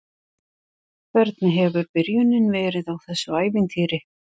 Hvernig hefur byrjunin verið á þessu ævintýri?